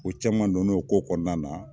KO caman dona o ko kɔnɔna na